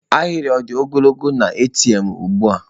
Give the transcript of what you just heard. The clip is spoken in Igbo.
Ahịrị ọ dị ogologo na ATM ugbu a?